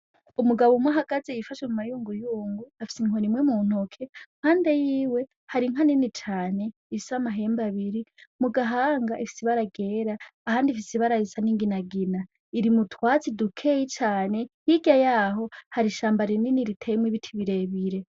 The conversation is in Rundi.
Umugabo umwe ahagaze yifashe mumayunguyungu afise inkoni imwe m'untoki impande yiwe hari inka nini cane ifise amahembe abiri ,Mugahanga ifise ibara ryera ahandi ifise ibara risa ninginagina, Iri mutwatsi dukeya cane hirya yaho hari ishamba rinini riteyemwo ibiti birebire.